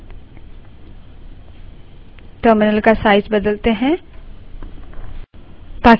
terminal का size बदलते हैं